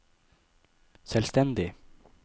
selvstendig